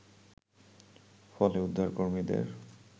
ফলে, উদ্ধারকর্মীদের